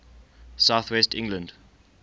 south west england